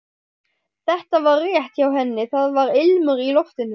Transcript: Þetta var rétt hjá henni, það var ilmur í loftinu.